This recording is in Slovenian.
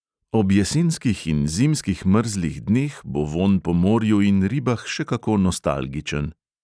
Ob jesenskih in zimskih mrzlih dneh bo vonj po morju in ribah še kako nostalgičen...